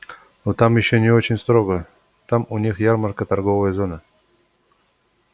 ну там ещё не очень строго там у них ярмарка торговая зона